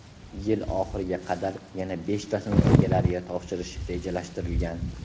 Yil oxiriga qadar yana beshtasini egalariga topshirish rejalashtirilgan.